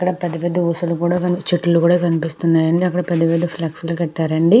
ఇక్కడ పెద్ద పెద్ద ఊసలు కూడ చెట్లు కూడా కనిపిస్తున్నాయి అండి అక్కడి పెద్ద పెద్ద ఫ్లెక్సీలు కట్టారు అండి.